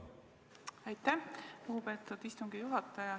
Aitäh, lugupeetud istungi juhataja!